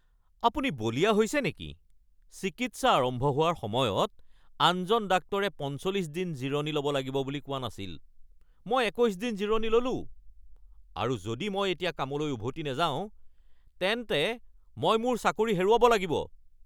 আপুনি বলিয়া হৈছে নেকি? চিকিৎসা আৰম্ভ হোৱাৰ সময়ত আনজন ডাক্তৰে ৪৫ দিন জিৰণি ল’ব লাগিব বুলি কোৱা নাছিল৷ মই ২১ দিন জিৰণি ললোঁ আৰু যদি মই এতিয়া কামলৈ উভতি নাযাওঁ তেন্তে মই মোৰ চাকৰি হেৰুৱাব লাগিব। (ৰোগী)